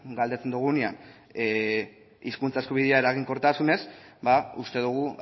galdetzen dogunean hizkuntza eskubidea eraginkortasunez ba uste dogu